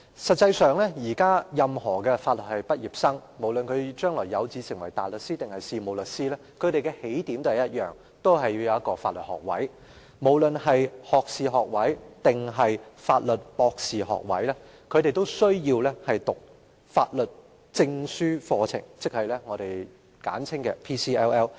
實際上，現時任何法律系畢業生，不論將來有志成為大律師或事務律師，他們的起點也是相同的，就是必須擁有法律學位——學士學位或法律博士學位——並修讀法學專業證書課程，即我們簡稱的 PCLL。